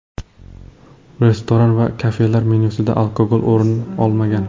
Restoran va kafelar menyusidan alkogol o‘rin olmagan.